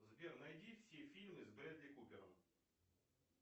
сбер найди все фильмы с брэдли купером